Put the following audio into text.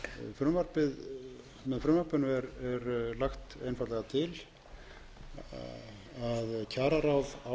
frumvarpinu er lagt einfaldlega til að kjararáð ákveði öll laun